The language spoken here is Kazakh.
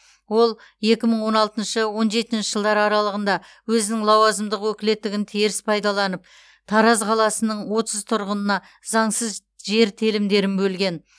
ол екі мың он алтыншы он жетінші жылдар аралығында өзінің лауазымдық өкілеттігін теріс пайдаланып тараз қаласының отыз тұрғынына заңсыз жер телімдерін бөлген